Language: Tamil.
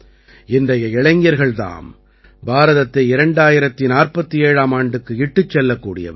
இன்றைய இளைஞர்கள் தாம் பாரதத்தை 2047ஆம் ஆண்டுக்கு இட்டுச் செல்லக்கூடியவர்கள்